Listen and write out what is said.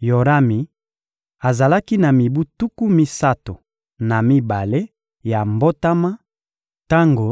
Yorami azalaki na mibu tuku misato na mibale ya mbotama tango